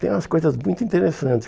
Tem umas coisas muito interessantes.